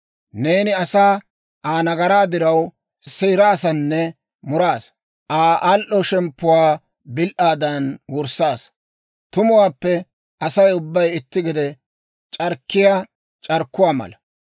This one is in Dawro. Neeni asaa Aa nagaraa diraw, seeraasanne muraasa; Aa al"o shemppuwaa bil"aadan wurssaasa. Tumuwaappe Asay ubbay itti gede c'arkkiyaa c'arkkuwaa mala.